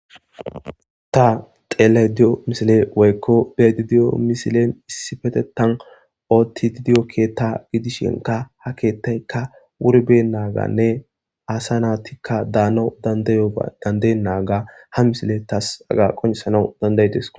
Ta xelaydiyo misile woykko dedidiyo misilen issi petetan ootti didiyo keetta gidishinka ha keettaykka wurbe naaganne aasa naatikka daana dandayodandayo naaga ha misile taas aga qonciesanau dandaydis.